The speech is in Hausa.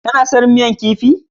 Ka na son miyar kifi?